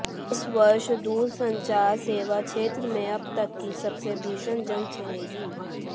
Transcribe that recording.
इस वर्ष दूरसंचार सेवा क्षेत्र में अब तक की सबसे भीषण जंग छिड़ेगी